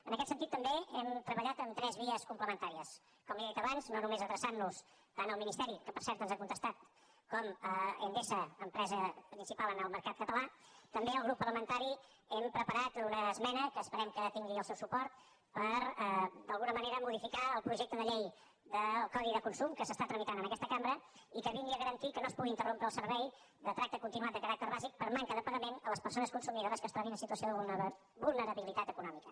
en aquest sentit també hem treballat en tres vies complementàries com li he dit abans no només adreçant nos tant al ministeri que per cert ens ha contestat com a endesa empresa principal en el mercat català també el grup parlamentari hem preparat una esmena que esperem que tingui el seu suport per d’alguna manera modificar el projecte de llei del codi de consum que s’està tramitant en aquesta cambra i que vingui a garantir que no es pugui interrompre el servei de tracte continuat de caràcter bàsic per manca de pagament a les persones consumidores que es trobin en situació de vulnerabilitat econòmica